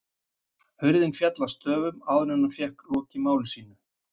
Hurðin féll að stöfum, áður en hann fékk lokið máli sínu.